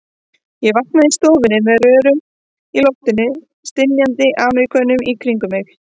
Ég vaknaði í stofu með rörum í loftinu og stynjandi Ameríkönum í kringum mig.